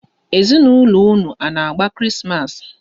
Ezinaụlọ unu a na-agba Krismas?